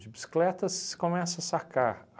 De bicicleta você começa a sacar.